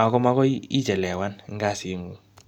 Ako magoi ichelewan eng kasit ngung.